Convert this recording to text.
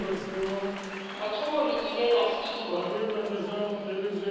mathomo re ile ra fiwa